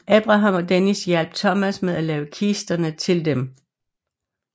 Abraham og Dennis hjalp Thomas med at lave kisterne til dem